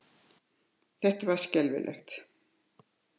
Þetta var skelfilegt!